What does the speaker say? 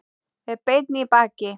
Er beinn í baki.